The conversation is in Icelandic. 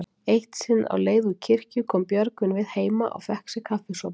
Eitt sinn á leið úr kirkju kom Björgvin við heima og fékk sér kaffisopa.